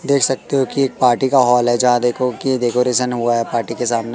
देख सकते हो कि एक पार्टी का हॉल है जहां देखो की डेकोरेशन हुआ है पार्टी के सामने--